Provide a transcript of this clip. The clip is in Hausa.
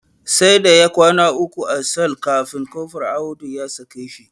Sai da ya kwana uku a sel kafin Kofur Audu ya sake shi.